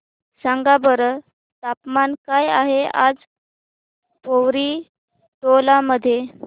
सांगा बरं तापमान काय आहे आज पोवरी टोला मध्ये